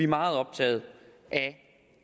meget optaget af